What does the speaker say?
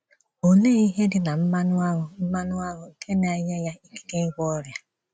Òlee ihe dị na mmanụ aṅụ mmanụ aṅụ nke na - enye ya ikike ị́gwọ ọrịa?